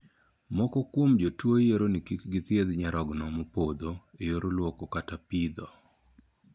Moko kuom jotuo yiero ni kik githiedh nyarogno mopodho e yor luoko kata pitho.